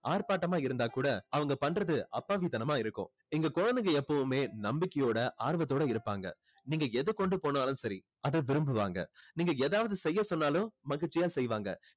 ஆர்ப்பட்டமா இருந்தா கூட அவங்க பண்றது அப்பாவி தனமா இருக்கும் இந்த குழந்தைங்க எப்பவுமே நம்பிக்கையோட ஆர்வத்தோட இருப்பாங்க நீங்க எதை கொண்டு போனாலும் சரி அதை விரும்புவாங்க நீங்க ஏதாவது செய்ய சொன்னாலும் மகிழ்ச்சியா செய்வாங்க